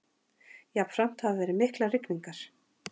Jafnframt hafa verið miklar rigningar